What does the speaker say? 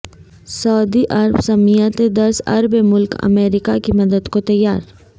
سعودی عرب سمیت دس عرب ملک امریکہ کی مدد کو تیار